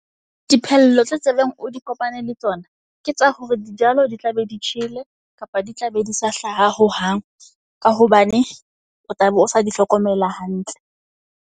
Diphello tse tsebeng o di kopane le tsona. Ke tsa hore di jalo di tla be di tjhele kapa di tla be di sa hlaha hohang. Ka hobane o tla be o sa di hlokomela hantle.